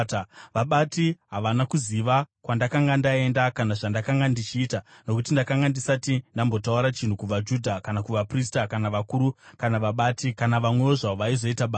Vabati havana kuziva kwandakanga ndaenda kana zvandakanga ndichiita, nokuti ndakanga ndisati ndambotaura chinhu kuvaJudha kana kuvaprista kana vakuru kana vabati, kana vamwewo zvavo vaizoita basa.